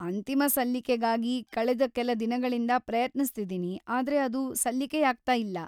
ಅಂತಿಮ ಸಲ್ಲಿಕೆಗಾಗಿ ಕಳೆದ ಕೆಲ ದಿನಗಳಿಂದ ಪ್ರಯತ್ನಿಸ್ತಿದೀನಿ, ಆದ್ರೆ ಅದು ಸಲ್ಲಿಕೆಯಾಗ್ತಾ ಇಲ್ಲ.